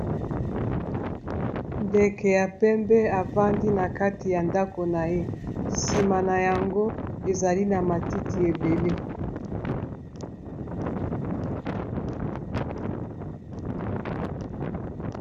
Ndeke ya pembe afandi na kati ya ndako na ye sima na yango ezali na matiti ebele